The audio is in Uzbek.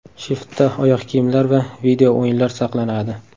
Shiftda oyoq kiyimlar va video-o‘yinlar saqlanadi.